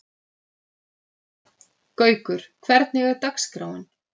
Gaukur, hvernig er dagskráin?